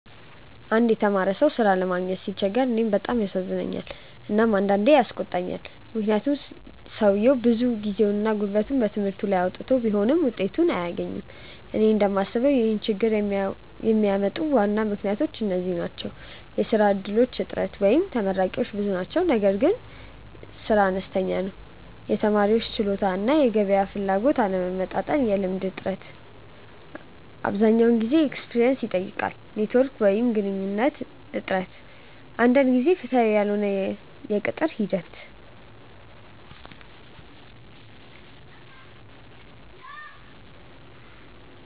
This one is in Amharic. አንድ የተማረ ሰው ሥራ ለማግኘት ሲቸገር እኔን በጣም ያሳዝነኛል እና አንዳንዴም ያስቆጣኛል፤ ምክንያቱም ሰውየው ብዙ ጊዜና ጉልበት በትምህርቱ ላይ አውጥቶ ቢሆንም ውጤቱን አያገኝም። እኔ እንደምስበው ይህን ችግኝ የሚያመጡ ዋና ምክንያቶች እነዚህ ናቸው፦ የሥራ እድሎች እጥረት (ተመራቂዎች ብዙ ናቸው ነገር ግን ሥራ አነስተኛ ነው) የተማሪዎች ችሎታ እና የገበያ ፍላጎት አለመመጣጠን የልምድ እጥረት (አብዛኛው ሥራ “experience” ይጠይቃል) ኔትዎርክ ወይም ግንኙነት እጥረት አንዳንድ ጊዜ ፍትሃዊ ያልሆነ የቅጥር ሂደት